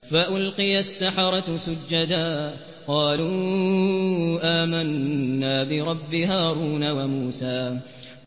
فَأُلْقِيَ السَّحَرَةُ سُجَّدًا قَالُوا آمَنَّا بِرَبِّ هَارُونَ وَمُوسَىٰ